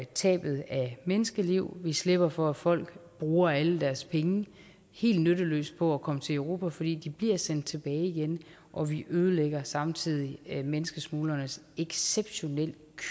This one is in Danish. tabet af menneskeliv vi slipper for at folk bruger alle deres penge helt nytteløst på at komme til europa for de bliver sendt tilbage igen og vi ødelægger samtidig menneskesmuglernes exceptionelt